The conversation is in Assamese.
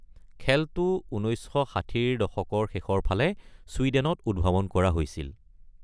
খেলটো ১৯৬০ ৰ দশকৰ শেষৰ ফালে চুইডেনত উদ্ভাৱন কৰা হৈছিল।